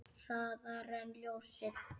Hraðar en ljósið.